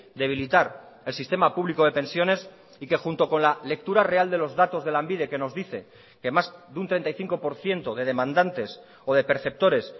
debilitar el sistema público de pensiones y que junto con la lectura real de los datos de lanbide que nos dice que más de un treinta y cinco por ciento de demandantes o de perceptores